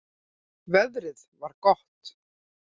Veðrið var gott.